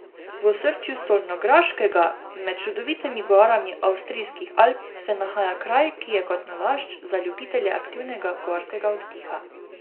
V osrčju Solnograškega, med čudovitimi gorami avstrijskih Alp, se nahaja kraj, ki je kot nalašč za ljubitelje aktivnega gorskega oddiha.